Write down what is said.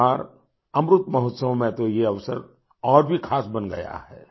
इस बार अमृत महोत्सव में तो ये अवसर और भी ख़ास बन गया है